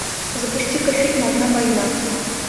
запусти ка фильм одна война